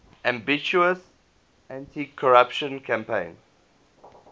ambitious anticorruption campaign